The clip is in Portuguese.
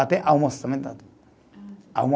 Até almoço também dá tudo.